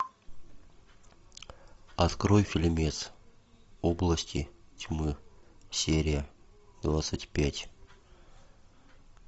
открой фильмец области тьмы серия двадцать пять